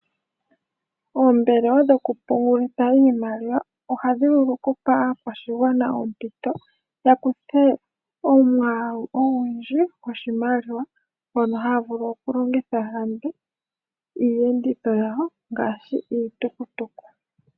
Ooombelewa dhokupungulitha iimaliwa ohadhi vulu okupa aakwashigwana oompito ya kuthe omwaalu ogundji gwoshimaliwa ngono haa vulu okulongitha ya lande iiyenditho yawo ngaashi iitukutuku.